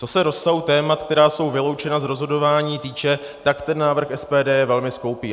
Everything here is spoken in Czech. Co se rozsahu témat, která jsou vyloučena z rozhodování, týče, tak ten návrh SPD je velmi skoupý.